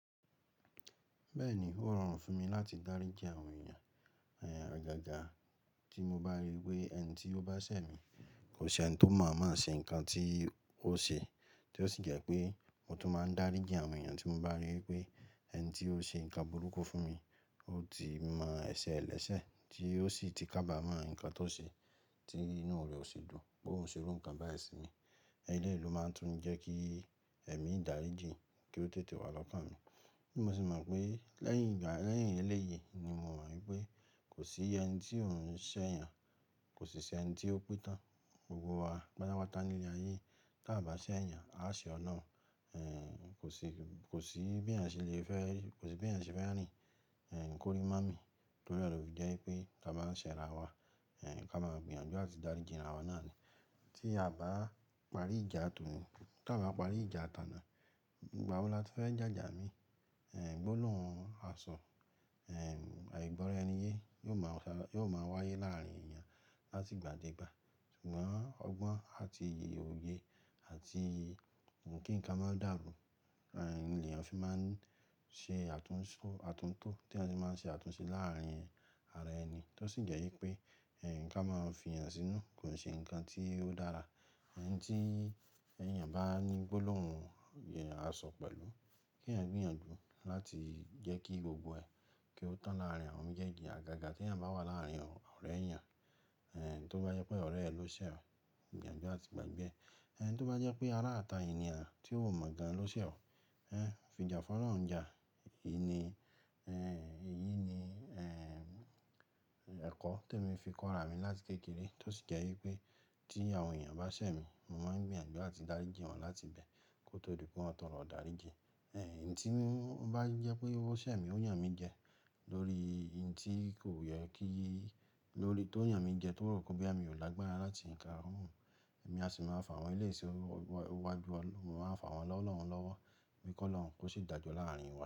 Bẹ́ẹ̀ni, ó rọrùn fún mi láti dáríji àwọn èèyàn. Ẹ̀, àgàgà tí mo bá rí i pé ẹni tí ó bá ṣẹ̀ mí kò ṣe ẹni tó mọ̀o moo ṣe nǹkan tí ó ṣe, tí ó sì jẹ́ pé mo tún máa ń dáríji àwọn èèyàn tí mo bá rí wi pé ẹni tí ó ṣe nǹkan burúkú fún mi. Ó ti mọ ẹsẹ̀ ẹ̀lẹ́sẹ̀ tí ó sì ti kábàámọ̀ ǹkan tó ṣe tí inú rẹ̀ ò ṣi dun pé óun ṣe irú nǹkan báyìí sí mi. Eléyi lo máa tún ń jẹ́ kí ẹ̀mí dáríji kí ó tètè wà lọ́kàn mi. Bi mo sì mọ̀ pé lẹ́yìn ìgbà, lẹ́yìn eléyìí ni mo mọ̀ wípé kò sí ẹni tí ò ń ṣẹ̀ yàn, kò sì ṣe ẹni tí ó pẹ́ tán. Gbogbo wa patapata ní ilẹ̀ ayé yi. Tí a bá ṣẹ̀ yàn, a ó ṣe ọ̀lorun. Ẹ̀, kò sí, kò sí bí ẹ̀yàn ṣe lè fẹ́, kò sí bí ẹ̀yàn ṣe fẹ́ rìn, ẹ̀, kórí má mi lórí ọ̀rọ̀ bí i jẹ́ pé ká máa ṣẹ̀ ara wa. Ẹ̀, ká máa gbìyànjú àti dáríji ara wa náà ni. Tí a bá parí ìjà tòni, tí a bá parí ìjà tà náà, ìgbà wo la tí fẹ́ jàjà mi? Ẹ̀, gbólóhùn àso, ẹ̀, àìgbọ́ra ẹni yé yóò máa ń sọ̀rọ̀, yóò máa wáyé láàárín èèyàn láti gbà dé ìgbà. Ṣùgbọ́n ọgbọ́n àti iye òye àti kí nǹkan má dàrú, ẹ̀, ni èèyàn fi máa ń ṣe àtúnṣe, àtúntò tí ẹni tí máa ń ṣe àtúnṣe láàárín ara ẹni, tó sì jẹ́ wípé ẹ̀, ka máa fi èèyàn sínú kò ṣe nǹkan tí ó dára. Enití èèyàn bá ní gbólóhùn a sọ pẹ̀lú kí ẹ̀yàn gbìyànjú láti jẹ́ kí gbogbo ẹ kí ó tàn láàárín awon méjèèjì. Àgàgà bí ẹ̀yàn bá wà láàárín ọ̀rẹ́ èèyàn, ẹ̀, tó bá jẹ́ pé ọ̀rẹ́ rẹ ló ṣẹ̀ ọ́, gbìyànjú àti gbìgbẹ. Ẹn tó bá jẹ́ pé aráàtà ni a tí ó mọ̀ gan lo ṣẹ̀ ọ́, ẹ̀, fijà fọ́ lọ́hun jà. Í ni, ẹ̀, èyí ni, ẹ̀, ẹ̀kọ́ te mi fi kọ ara mi láti kékeré tó sì jẹ́ wípé tí àwọn èèyàn bá ṣẹ̀ mi, mo máa ń gbìyànjú àti dáríji wọn láti bẹ̀ kó tó rí di pé wọn tọrọ idaríji. Ẹ̀, èyí tí n bá jẹ́ pé ó ṣẹ̀ mí ó yàn mí jẹ lórí ohun tí kò yẹ kí i lórí, tó yàn mí jẹ tó rò pé bo ya mi ò lágbára láti ka ohun, èmi a sì máa fà wọ́n léèṣe oluwa ó wá ju, mo máa fà wọ́n lọ́lọ́run lọ́wọ́, m kolọ́run kó ṣe dàjọ́ láàárín wa.